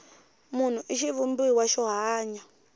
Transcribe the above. munhu i xivumbiwa xo hanya